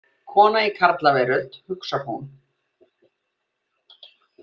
Kona í karlaveröld, hugsar hún.